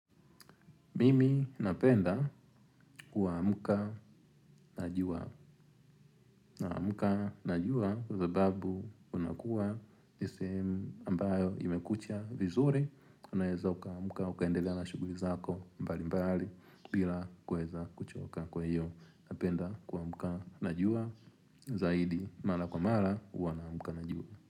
Mimi napenda kuamuka na jua. Na amuka najua kwa sababu unakuwa ni sehemu ambayo imekucha vizuri. Unaeza uka amuka ukaendelea la shuguri zako mbali mbali bila kuweza kuchoka kwahiyo. Napenda kumuka na jua zaidi mala kwa mala huwa na amuka na jua.